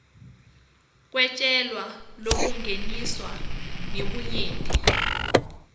kwetjwala lobungeniswe ngebunyenti